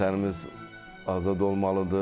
Vətənimiz azad olmalıdır.